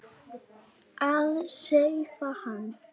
Að sefa hann.